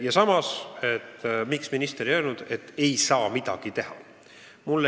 Ja samas kõlas süüdistus, miks minister ei öelnud, et ei saa midagi teha.